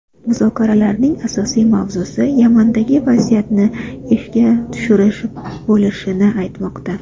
Muzokaralarning asosiy mavzusi Yamandagi vaziyatni ishga tushirish bo‘lishi aytilmoqda.